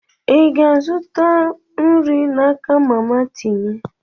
Ị ga-azụta nri n'aka mama tinye?